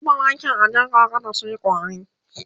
zata zuba waken a jarka kada suyi ƙwari